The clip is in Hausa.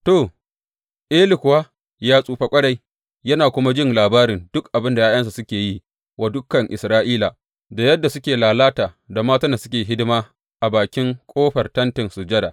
To, Eli kuwa ya tsufa ƙwarai, yana kuma jin labari duk abin da ’ya’yansa suke yi wa dukan Isra’ila, da yadda suke lalata da matan da suke hidima a bakin ƙofar Tentin Sujada.